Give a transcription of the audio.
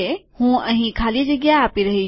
હું અહીં ખાલી જગ્યા આપી રહ્યો છું